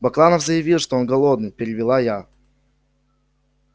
бакланов заявил что он голодный перевела я